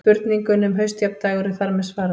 Spurningunni um haustjafndægur er þar með svarað.